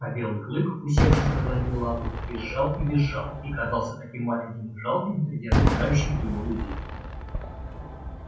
а белый клык усевшись на задние лапы визжал и визжал и казался таким маленьким и жалким среди окружающих его людей